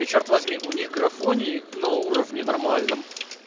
черт возьми у них графа не на уровне нормально